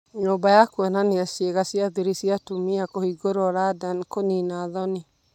Nyũmba ya kũonania ciĩga cia thiri cia atumia kũhingũrwo London 'kũnina thoni'